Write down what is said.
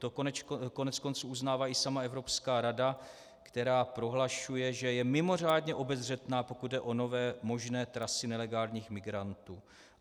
To koneckonců uznává i sama Evropská rada, která prohlašuje, že je mimořádně obezřetná, pokud jde o nové možné trasy nelegálních migrantů.